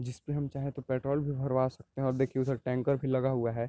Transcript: जिसमे हम चाहे तो पेट्रोल भी भड़वा सकते है और देखिये उधर टैंकर भी लगा हुआ है।